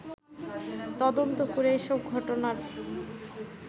তদন্ত করে এসব ঘটনার